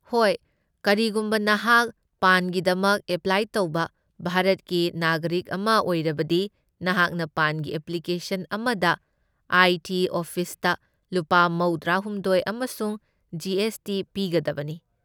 ꯍꯣꯏ, ꯀꯔꯤꯒꯨꯝꯕ ꯅꯍꯥꯛ ꯄꯥꯟꯒꯤꯗꯃꯛ ꯑꯦꯄ꯭ꯂꯥꯏ ꯇꯧꯕ ꯚꯥꯔꯠꯀꯤ ꯅꯥꯒꯔꯤꯛ ꯑꯃ ꯑꯣꯏꯔꯕꯗꯤ, ꯅꯍꯥꯛꯅ ꯄꯥꯟꯒꯤ ꯑꯦꯄ꯭ꯂꯤꯀꯦꯁꯟ ꯑꯃꯗ ꯑꯥꯏ. ꯇꯤ. ꯑꯣꯐꯤꯁꯇ ꯂꯨꯄꯥ ꯃꯧꯗ꯭ꯔꯥꯍꯨꯝꯗꯣꯢ ꯑꯃꯁꯨꯡ ꯖꯤ. ꯑꯦꯁ. ꯇꯤ. ꯄꯤꯒꯗꯕꯅꯤ꯫